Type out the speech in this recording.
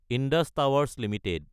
Indus Towers Ltd